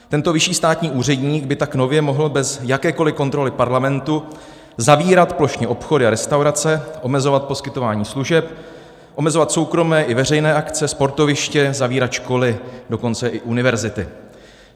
Tento vyšší státní úředník by tak nově mohl bez jakékoliv kontroly Parlamentu zavírat plošně obchody a restaurace, omezovat poskytování služeb, omezovat soukromé i veřejné akce, sportoviště, zavírat školy, dokonce i univerzity.